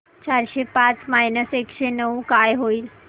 चारशे पाच मायनस एकशे नऊ काय होईल